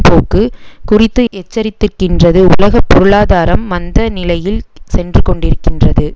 போக்கு குறித்து எச்சரித்திருக்கின்றது உலக பொருளாதாரம் மந்த நிலையில் சென்று கொண்டிருக்கின்றது